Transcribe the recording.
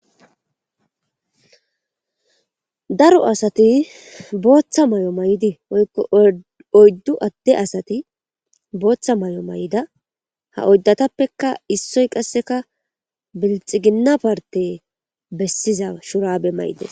daro asati booththa may7o may7di oykko oyddu adde asati booththa may7o may7ida ha oyddatappeka issoy qasseka belxiginna parte bessiza shuraabe may7ides